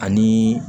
Ani